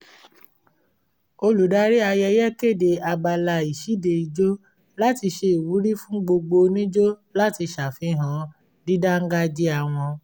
olùdarí ayẹyẹ kéde abala ìṣíde ìjó láti ṣe ìwúrí fún gbogbo onijó láti ṣàfihàn dídáńgájíá wọn